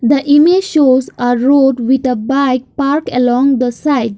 the image shows are road with a bike park along the side.